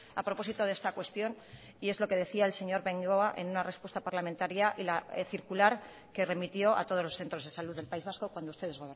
a propósito de esta cuestión y es lo que decía el señor bengoa en una respuesta parlamentaria y la circular que remitió a todos los centros de salud del país vasco cuando ustedes